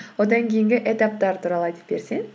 одан кейінгі этаптар туралы айтып берсең